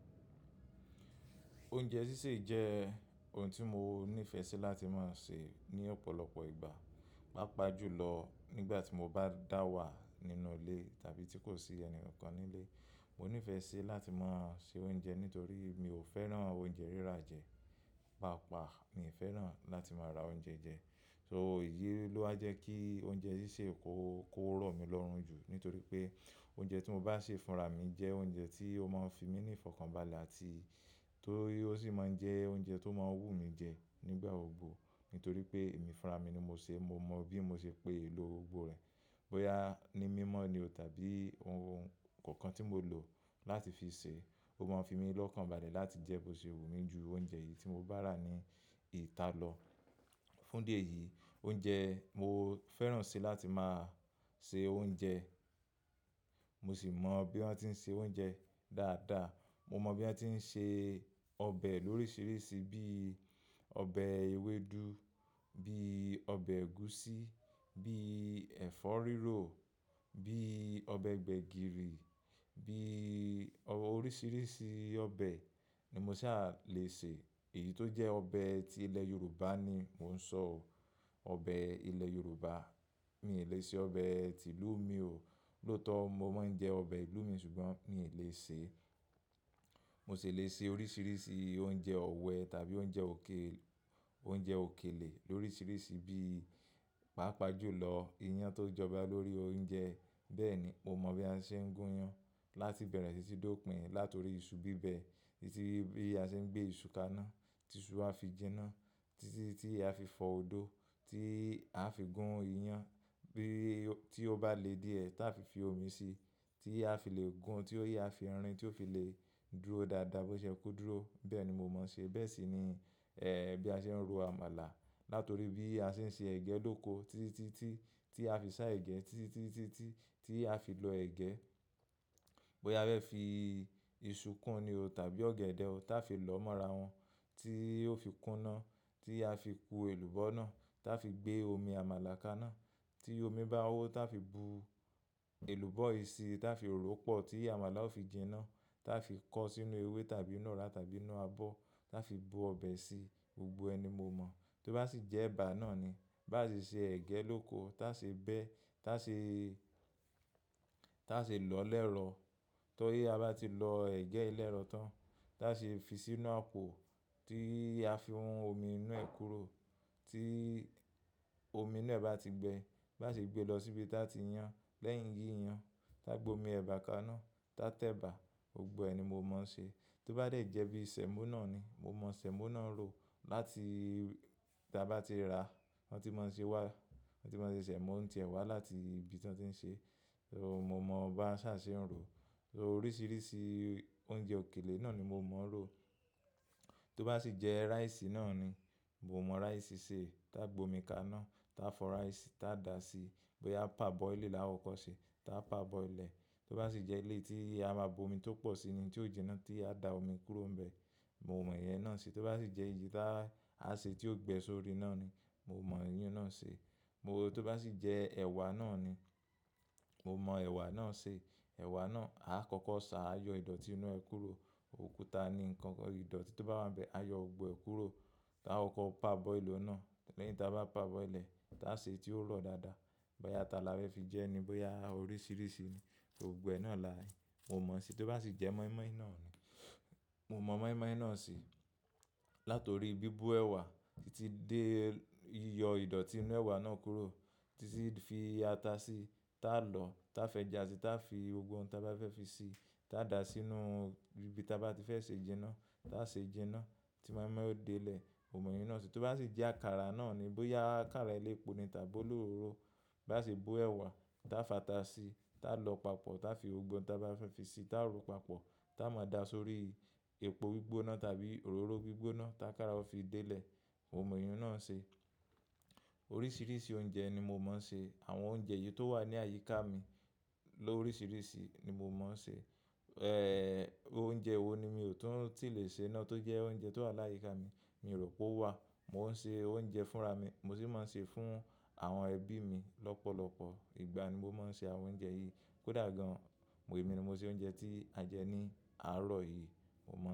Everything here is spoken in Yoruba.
Oúnjẹ sísè jẹ́ ohun tí mo nífẹ̀ẹ́ sí láti máa sè ní ọ̀pọ̀lọpọ̀ ìgbà, pàápàá jùlọ nígbà tí mo bá dà wà nínú ilé tàbí tí kò sí ẹni kankan nílé. Mo nífẹ̀ẹ́ sí láti máa ṣe oúnjẹ nítorí mi ò fẹ́ràn oúnjẹ rírà jẹ́, pàápàá mi ò fẹ́ràn láti máa ra oúnjẹ jẹ. So ìyí ló a jẹ́ kí oúnjẹ sísè kó, kó rọ̀ mí lọ́rùn jù nítorí pé oúnjẹ tí mo bá sè fúnra mi jẹ́ oúnjẹ tí ó máa fi mí ní ìfọ̀kànbalẹ̀ àti tó, ó sì máa jẹ́ oúnjẹ tó máa wú mi jẹ nígbà òògùn. Nítorí pé èmi fúnra mi ni mo sè, mo mọ̀ bí mo ṣe pè èlò gbogbo rẹ̀. Bóyá ní mímọ́ ni o tàbí oun kankan tí mo lò láti fi sè é, ó máa fi mí lọ́kànbalẹ̀ láti jẹ́ bó ṣe wù mí ju oúnjẹ yìí tí mo bá rà ní ìta lọ. Fún dé yìí oúnjẹ mo fẹ́ràn ṣe láti máa ṣe oúnjẹ, mo sì mọ bí wọ́n ti ń ṣe oúnjẹ dáadáa. Mo mọ bí wọ́n ti ń ṣe ọbẹ̀ lóríṣiríṣi bíi ọbẹ̀ ewédú, bíi ọbẹ̀ ẹ̀gúsí, bíi ẹ̀fọ́ rírò, bíi ọbẹ̀ gbẹ̀gìrì, bíi oríṣiríṣi ọbẹ̀ ni mo sì á le sè. Èyí tó jẹ́ ọbẹ̀ tí ilẹ̀ Yorùbá ni mò ń sọ ọ, ọbẹ̀ ilẹ̀ Yorùbá. Mi ò lè ṣe ọbẹ̀ tí ìlú mi o. Lótọ̀ mo máa ń jẹ ọbẹ̀ ìlú mi ṣùgbọ́n mi ò lè sè. Mo sì lè ṣe oríṣiríṣi oúnjẹ ọ̀wẹ tàbí oúnjẹ òkè, oúnjẹ òkèlè lóríṣiríṣi bíi pàápàá jùlọ iyan tó jọba lórí oúnjẹ. Bẹ́ẹ̀ ni, mo mọ bí a ṣe ń gún iyan láti bẹ̀rẹ̀ sì í dópin. Láti orí iṣu bíbẹ, títí bí a ṣe ń gbé iṣu kaná, tí iṣu a fi jinná, títí tí a fi fọ odó, tí a fi gún iyan. Bí i tí ó bá le díẹ̀ táa fi fi omi sí, tí a fi le gún, tí ó yẹ a fi irin tí ó fi le dúró dáadáa bó ṣe ó kó dúró. Bẹ́ẹ̀ ni mo máa ṣe. Bẹ́ẹ̀ sì ni, eh, bí a ṣe ń ro àmàlà. Láti orí bí a ṣe ń ṣe ẹ̀gẹ́ lóko. Títí tí, tí a fi sá ẹ̀gẹ́, títí tí, tí a fi lọ ẹ̀gẹ́. Bóyá a fẹ́ fi iṣu kún ni o tàbí ọ̀gẹ̀dẹ̀ o, táa fi lọ́ mọ́ra wọn, tí ó fi kúná, tí a fi ku èlùbọ́ náà, táa fi gbé omi amala kaná. Tí omi bá hó táa fi bu èlùbọ́ yìí síí, táa fi ró pọ̀. Tí àmàlà ó fi jinná, táa fi kọ́ sínú ewé tàbí inú ọra tàbí inú abọ́, táa fi bu ọbẹ̀ sí. Gbogbo ẹni mo mọ̀. Tó bá sì jẹ́ ẹ̀bà náà ni, bá sì ṣe ẹ̀gẹ́ lóko, táa ṣe bẹ́, táa ṣe, táa ṣe lọ́ lẹ́rọ̀. Tó yé a bá ti lọ ẹ̀gẹ́ lẹ́rọ̀ tán, táa ṣe fi sínú àpò, tí a fi ohun omi inú ẹ̀ kúrò. Tí omi náà bá ti gbẹ, bá sé gbé lọ síbi táa ti yán. Lẹ́yìn yínyan, táa gbé omi ẹ̀bà kaná, táa tẹ ẹ̀bà. Gbogbo ẹ ni mo mọ̀ ń ṣe. Tó bá dé jẹ́ bí sẹ̀mọ́ náà ni, mo mọ sẹ̀mọ́ náà rọ. Láti, tí a bá ti rà, wọ́n ti máa ń ṣe wá, wọ́n ti máa ń ṣe sẹ̀mọ́ ń tẹ wá láti ibi tí wọ́n ti ń ṣe. So mo mọ̀ bá ṣa ṣe ń rọ. So oríṣiríṣi oúnjẹ òkèlè náà ni mo mọ̀ ń rọ. Tó bá sì jẹ́ rice náà ni, mo mọ rice se. Taa gbè omi kaná, táa fọ rice, táa dà á sí. Bóyá parboiling làá kọkọ ṣe, táa parboil ẹ. Tó bá sì jẹ́ eleyi tí a máa bu omi tó pọ̀ sí i ni tí ó jinná tí a dà á omi kúrò níbẹ̀, mo mọ̀ ìyẹn náà ṣe. Tó bá sì jẹ́ èyí táa a ṣe tí ó gbẹ́ sórí iná ni, mo mọ ìyẹn náà ṣe. Mo, tó bá sì jẹ́ ẹwà náà ni, mo mọ ẹwà náà ṣe. Ẹwà náà a kọ́kọ́ ṣà, á yọ ìdọ̀tí inú ẹ́ kúrò. Òkúta ni nǹkan ìdọ̀tí tó bá wá ń bẹ́, á yọ gbogbo ẹ́ kúrò. Taa kọ́kọ́ parboili òhún náà. Lẹ́yìn táa bá parboil ẹ̀, táa ṣe é tí ó rọ̀ dáadáa. Bóyá ata la fẹ́ fi jẹ́ ni, bóyá oríṣiríṣi ni, gbogbo ẹ náà là, mo mọ̀ ṣe. Tó bá sì jẹ́ mọ́ímọ́í náà ni, mo mọ mọ́ímọ́í náà ṣe. Láti orí bíbo ẹwà, títí dé yíyọ ìdọ̀tí inú ẹwà náà kúrò. Títí fi ata sí, táa lọ, táa f'eja si, táa fi gbogbo ohun tí a bá fẹ́ fi sí, táa dà á sínú ibi tí a bá ti fẹ́ ṣe jinná. Taa ṣe jinná, tí mọ́ímọ́í ó dé ilẹ̀, mo mọ̀ ìyẹn náà ṣe. Tó bá sì jẹ́ àkàrà náà ni, bóyá àkàrà elepo ni tàbí olóró. Bá sì bo ẹwà, táa fàá ta sí, táa lọ papọ̀, táa fi gbogbo ohun tí a bá fẹ́ fi sí, táa ró papọ̀, táa máa dà á sórí epo gbígbóná tàbí òróró gbígbóná. Ta akàrà ó fi dé ilẹ̀, mo mọ̀ ìyẹn náà ṣe. Oríṣiríṣi oúnjẹ ni mo máa ń ṣe. Àwọn oúnjẹ yìí tó wà ní àyíká mi lóríṣiríṣi ni mo máa ń ṣe. Eh, oúnjẹ wo ni mi ò tún ti lè ṣe iná tó jẹ́ oúnjẹ tó wà láyíká mi, mi rò pé ó wà. Mo ń ṣe oúnjẹ fúnra mi, mo sì máa ń ṣe fún àwọn ẹbí mi lọ́pọ̀lọpọ̀. Ìgbà ni mo máa ń ṣe àwọn oúnjẹ yìí. Kódà gan-an, èmi ni mo ṣe oúnjẹ tí a jẹ ní àárọ̀ yìí, mo mọ̀.